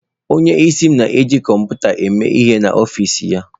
Onyeisi m na-eji kọmputa eme ihe n'ọfịs ya.